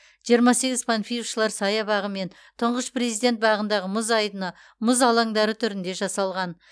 жиырма сегіз панфиловшылар саябағы мен тұңғыш президент бағындағы мұз айдыны мұз алаңдары түрінде жасалған